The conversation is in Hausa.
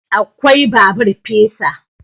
Akwai babur fesa